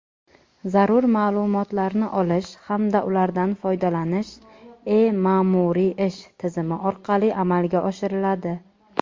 zarur ma’lumotlarni olish hamda ulardan foydalanish "E-ma’muriy ish" tizimi orqali amalga oshiriladi.